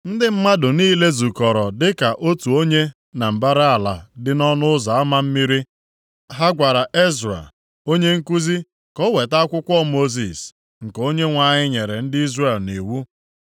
Ndị mmadụ niile zukọrọ dịka otu onye na mbara ala dị nʼỌnụ Ụzọ Ama Mmiri. Ha gwara Ezra onye nkuzi ka ọ weta akwụkwọ Mosis, nke Onyenwe anyị nyere ndị Izrel nʼiwu.